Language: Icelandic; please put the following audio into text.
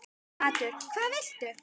Matur: Hvað viltu?